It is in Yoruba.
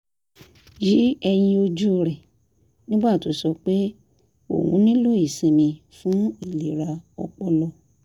yí ẹyin ojú rẹ̀ nígbà tó sọ pé òun nílò ìsinmi fún ìlera ọpọlọ